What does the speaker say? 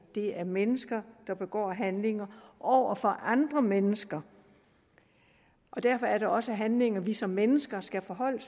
det er mennesker der begår handlingerne over for andre mennesker derfor er det også handlinger som vi som mennesker skal forholde